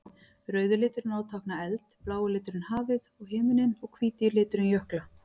Rauði liturinn á að tákna eld, blái liturinn hafið og himininn og hvíti liturinn jökla.